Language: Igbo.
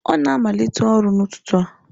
Ọ na-amalite ọrụ n'ụtụtụ a.